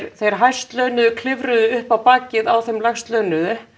þeir hæstlaunuðu klifruðu upp á bakið á þeim lægstlaunuðu